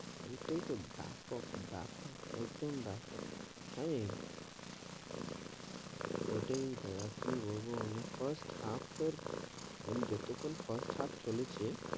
ঐটেই তো বেপক, বেপক, একদম বেপক, ওইটাই দাদা কি বলবো মানে first half এর মানে যেটুকুন first half চলেছে,